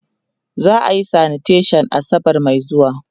za'a Yi sanitation asabar Mai zuwa